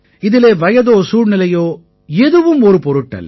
இதிலே வயதோ சூழ்நிலையோ எதுவும் ஒரு பொருட்டு அல்ல